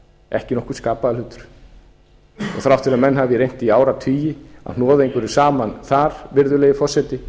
ekki nokkur skapaður hlutur og þrátt fyrir að menn hafi reynt í áratugi að hnoða einhverju saman þar virðulegi forseti